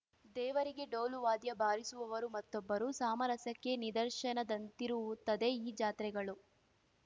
ದೇವರಿಗೆ ಡೋಲು ವಾದ್ಯ ಬಾರಿಸುವವರು ಮತ್ತೊಬ್ಬರು ಸಾಮರಸ್ಯಕ್ಕೆ ನಿದರ್ಶನದಂತಿರುತ್ತದೆ ಈ ಜಾತ್ರೆಗಳು